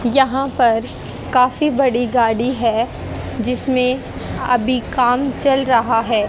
यहां पर काफी बड़ी गाड़ी है जिसमें अभी काम चल रहा है।